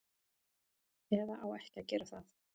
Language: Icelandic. Eða á ekki að gera það.